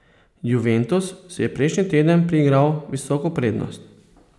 Juventus si je prejšnji teden priigral visoko prednost.